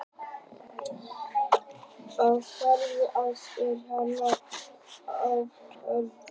af gjöfum þeim og sjóðstofnunum, er hann hefir fengið á undanförnum árum.